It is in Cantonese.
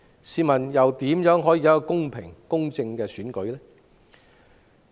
試問怎能有公平公正的選舉？